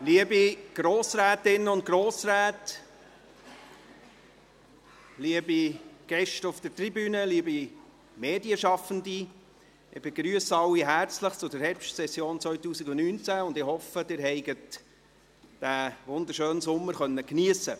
Liebe Grossrätinnen und Grossräte, liebe Gäste auf der Tribüne, liebe Medienschaffende, ich begrüsse alle herzlich zur Herbstsession 2019 und hoffe, Sie konnten diesen wunderschönen Sommer geniessen.